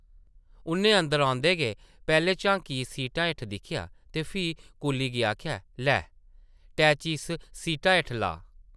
उʼन्नै अंदर औंदे गै पैह्लें झांकियै सीटें हेठ दिक्खेआ ते फ्ही कुल्ली गी आखेआ, लै, अटैची इस सीटा हेठ लाऽ ।